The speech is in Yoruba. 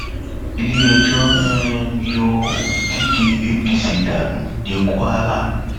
iléẹjọ um yọ olùdíje apc dànù ní kwara